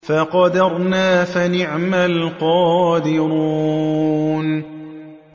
فَقَدَرْنَا فَنِعْمَ الْقَادِرُونَ